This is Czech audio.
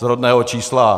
Z rodného čísla.